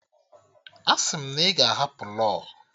Asị m na ị ga-ahapụ law!